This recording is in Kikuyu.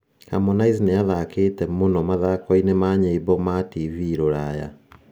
Harmonize nĩ 'athakĩte mũno' mathako-inĩ ma nyĩmbo ma TV Rũraya